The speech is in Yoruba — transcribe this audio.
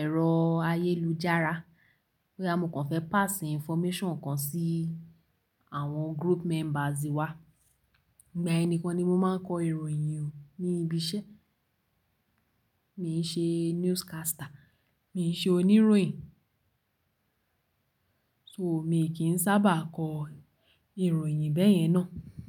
ẹ̀rọ ayélujára. Bóyá mo kàn fẹ́ pass information kan sí àwọn group members wa. Ìgbà yẹn nikan ni mo máa ń kọ ìròyìn o ní ibi iṣẹ́. Mi n ṣe newscaster, mi n ṣe oníròyìn. So, mi kì í sábà kọ ìròyìn bẹ́yẹn náà.